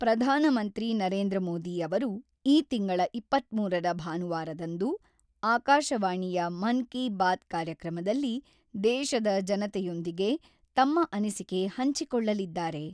ಪ್ರಧಾನಮಂತ್ರಿ ನರೇಂದ್ರ ಮೋದಿ ಅವರು ಈ ತಿಂಗಳ ಇಪ್ಪತ್ತ್ಮೂರ ರ ಭಾನುವಾರದಂದು ಆಕಾಶವಾಣಿಯ ಮನ್-ಕಿ-ಬಾತ್ ಕಾರ್ಯಕ್ರಮದಲ್ಲಿ ದೇಶದ ಜನತೆಯೊಂದಿಗೆ ತಮ್ಮ ಅನಿಸಿಕೆ ಹಂಚಿಕೊಳ್ಳಲಿದ್ದಾರೆ.